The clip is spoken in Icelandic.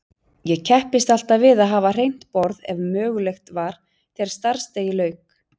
Ég kepptist alltaf við að hafa hreint borð ef mögulegt var þegar starfsdegi lauk.